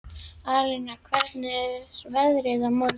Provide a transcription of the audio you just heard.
Alína, hvernig er veðrið á morgun?